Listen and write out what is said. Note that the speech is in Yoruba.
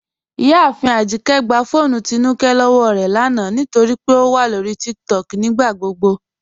Ìyàáfin Ajíkẹ̀ gbà fọ́ọnù Tínúkẹ̀ lọ́wọ́ rẹ lána nítorí pé ó wà lọ́rí TikTok nígbàgbogbo